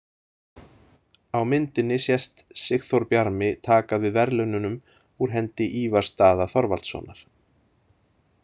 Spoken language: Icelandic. Á myndinni sést Sigþór Bjarmi taka við verðlaununum úr hendi Ívars Daða Þorvaldssonar.